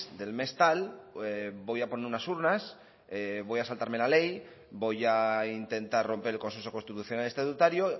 del mes tal voy a poner unas urnas voy a saltarme la ley voy a intentar romper el consejo constitucional estatutario